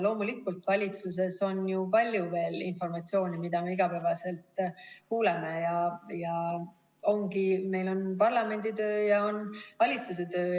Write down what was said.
Loomulikult, valitsuses on ju palju informatsiooni, mida me igapäevaselt kuuleme, ja ongi nii, et on parlamendi töö ja on valitsuse töö.